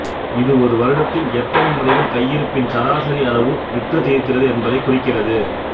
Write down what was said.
இது ஒரு வருடத்தில் எத்தனை முறைகள் கையிருப்பின் சராசரி அளவு விற்றுத் தீர்கிறது என்பதைக் குறிக்கிறது